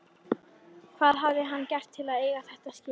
Hvað hafði hann gert til að eiga þetta skilið?